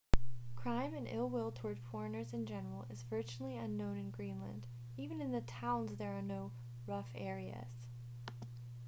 crime and ill-will toward foreigners in general is virtually unknown in greenland even in the towns there are no rough areas